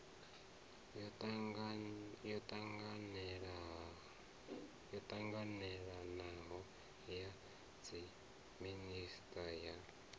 yo ṱanganelanaho ya dziminisiṱa ya